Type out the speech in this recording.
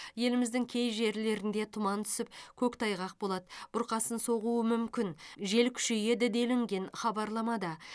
еліміздің кей жерлерінде тұман түсіп көктайғақ болады бұрқасын соғуы мүмкін жел күшейеді делінген хабарламада